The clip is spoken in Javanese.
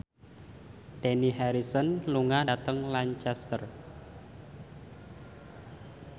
Dani Harrison lunga dhateng Lancaster